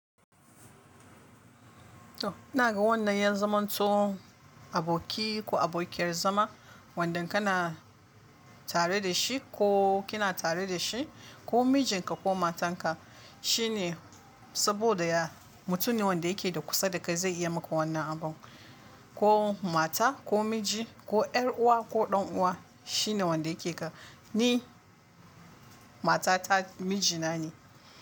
To ina ga wannan yazaman to, aboki ko abokiyar zama wanda kana tare da shi ko kina tare da shi ko mijinka ko matanka. Shi ne saboda ya mutum ne wanda yake da kusa da kai zai iya maka wannan abun. Ko mata ko miji ko 'yar uwa ko ɗan uwa shine wanda yake ka. Ni mata ta mijina ne.